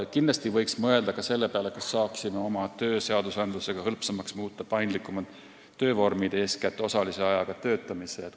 Kindlasti võiks mõelda ka selle peale, kas saaksime oma tööseadustega muuta töövorme hõlpsamaks ja paindlikumaks, eeskätt osalise ajaga töötamise.